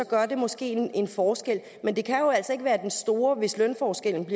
gør det måske en forskel men det kan jo altså ikke være den store forskel hvis lønforskellen